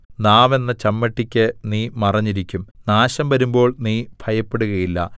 നാവെന്ന ചമ്മട്ടിക്ക് നീ മറഞ്ഞിരിക്കും നാശം വരുമ്പോൾ നീ ഭയപ്പെടുകയില്ല